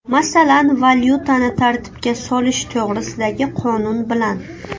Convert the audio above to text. Masalan, valyutani tartibga solish to‘g‘risidagi qonun bilan.